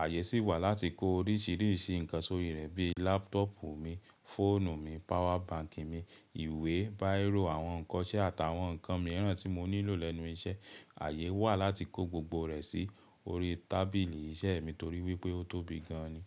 Ààyè sì wà láti kó oríṣìíríṣìí nǹkan sórí rẹ̀ bí i lápútọ̀pù mi, fóònù mi, power bank mi, ìwé, báìrò, àwọn nǹkan iṣẹ́ àtàwọn nǹkan mìíràn tí mo nílò lẹ́nu iṣẹ́. Ààyè wà láti kó gbogbo rẹ̀ sí orí tábìlì iṣẹ́ mi torí wípé ó tóbi gan an ni.